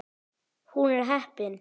Hún er heppin.